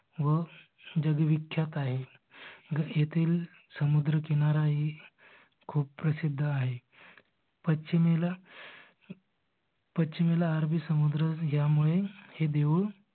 व विख्यात आहे जर एथील समुद्र किनारा ही खूप प्रसिद्ध आहे. पश्चिम अरबी समुद्र ह्यामुळे हे देऊळ